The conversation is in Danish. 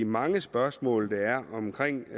mange spørgsmål der er omkring